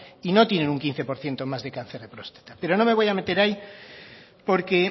y no tienen un quince por ciento más de cáncer de próstata pero no me voy a meter ahí porque